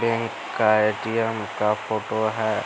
Bank का ATM. का photo है।